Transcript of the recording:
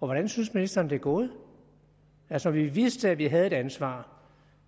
og hvordan synes ministeren det er gået altså vi vidste vi havde et ansvar